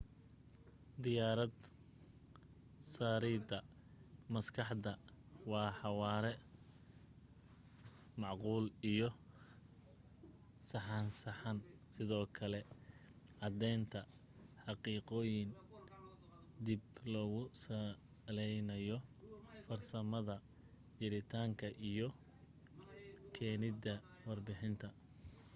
diarad saarida maskaxdan waa xawaare macquul iyo saxsanaan sidoo kale cadeenta xaqiiqoyinka dib loogu saleynayo farsamada jiritaanka isu keenida warbixinta